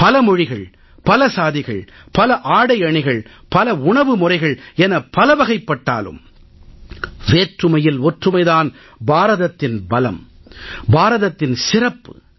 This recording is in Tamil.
பல மொழிகள் பல சாதிகள் பல ஆடைஅணிகள் பல உணவு முறைகள் என பலவகைப்பட்டாலும் வேற்றுமையில் ஒற்றுமை தான் பாரதத்தின் பலம் பாரதத்தின் சிறப்பு